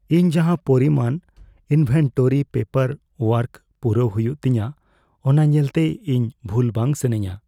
ᱤᱧ ᱡᱟᱦᱟᱸ ᱯᱚᱨᱤᱢᱟᱱ ᱤᱱᱵᱷᱮᱱᱴᱚᱨᱤ ᱯᱮᱯᱟᱨ ᱳᱣᱟᱨᱠ ᱯᱩᱨᱟᱹᱣ ᱦᱩᱭᱩᱜ ᱛᱤᱧᱟᱹ ᱚᱱᱟ ᱧᱮᱞᱛᱮ, ᱤᱧ ᱵᱷᱩᱞ ᱵᱟᱝ ᱥᱟᱱᱟᱧᱼᱟ ᱾